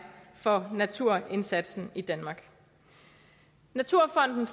for naturindsatsen i danmark naturfonden